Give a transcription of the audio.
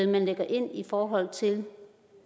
man lægger ind i forhold til